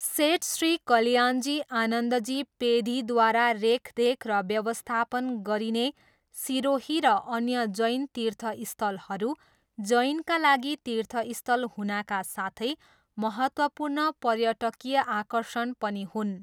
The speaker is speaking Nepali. सेठ श्री कल्याणजी आनन्दजी पेधीद्वारा रेखदेख र व्यवस्थापन गरिने सिरोही र अन्य जैन तीर्थस्थलहरू जैनका लागि तीर्थस्थल हुनाका साथै महत्त्वपूर्ण पर्यटकीय आकर्षण पनि हुन्।